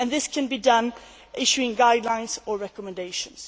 This can be done by issuing guidelines or recommendations.